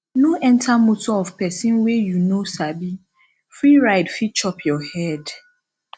no enter motor of pesin wey you no sabi free ride fit chop your head